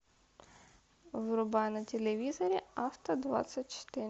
врубай на телевизоре авто двадцать четыре